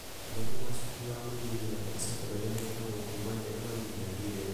mathomo ma cukuru wa mũthingi na ma cekondarĩ mekagwo kuma njanũarĩ nginya ndithemba.